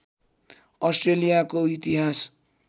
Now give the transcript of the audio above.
अस्ट्रेलियाको इतिहास